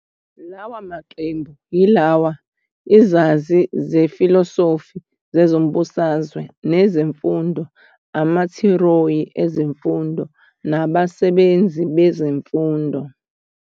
Lawa maqembu yilawa- izazi zefilosofi zezombangazwe nezemfundo, amathiyori ezemfundo, nabasebenzi bezemfundo.